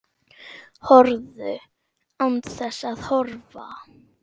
Horfðu. án þess að horfa.